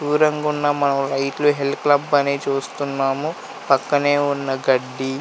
దూరంగా ఉన్న మనం హైట్ లో హిల్ క్లబ్ అని చూస్తున్నాము. పక్కనే ఉన్న గడ్డి--